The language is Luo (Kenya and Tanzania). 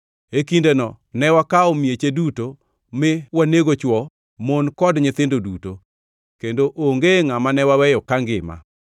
E kindeno ne wakawo mieche duto, mi wanego, chwo, mon kod nyithindo duto, kendo onge ngʼama ne waweyo kangima.